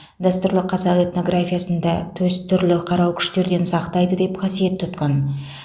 дәстүрлі қазақ этнографиясында төс түрлі қарау күштерден сақтайды деп қасиет тұтқан